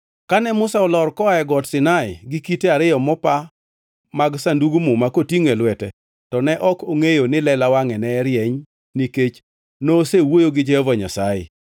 Kane Musa olor koa e Got Sinai gi kite ariyo mopa mag Sandug Muma kotingʼo e lwete to ne ok ongʼeyo ni lela wangʼe ne rieny nikech nosewuoyo gi Jehova Nyasaye.